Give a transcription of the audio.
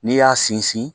N'i y'a sinsin